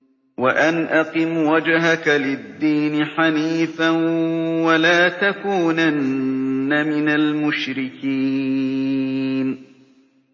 وَأَنْ أَقِمْ وَجْهَكَ لِلدِّينِ حَنِيفًا وَلَا تَكُونَنَّ مِنَ الْمُشْرِكِينَ